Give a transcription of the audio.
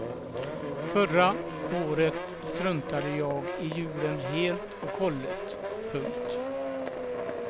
Förra året struntade jag i julen helt och hållet. punkt